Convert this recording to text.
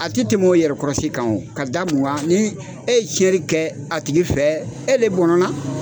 A tɛ tɛmɛ o yɛrɛkɔrɔsi kan ka da min kan ni e ye tiɲɛni kɛ a tigi fɛ e de bɔnɛna